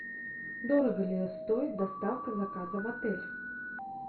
дорого ли стоит доставка заказа в отель